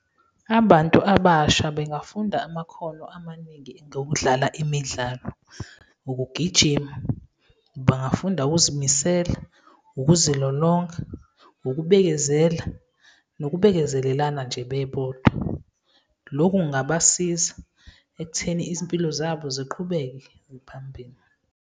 Abantu abasha bengafunda amakhono amaningi ngokudlala imidlalo, ukugijima, bangafunda ukuzimisela, ukuzilolonga, ukubekezela nokubekezelelana nje bebodwa. Lokho kungabasiza ekutheni izimpilo zabo ziqhubeke phambili.